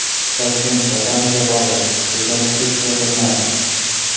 Toshkent botanika bog‘i rekonstruksiya qilinadi.